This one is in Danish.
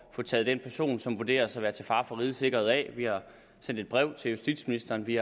at få taget den person som vurderes til at være til fare for rigets sikkerhed af vi har sendt et brev til justitsministeren vi